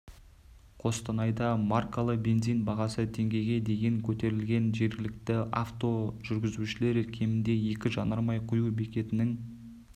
қостанайда маркалы бензин бағасы теңгеге дейін көтерілген жергілікті авто жүргізушілер кемінде екі жанармай құю бекетінің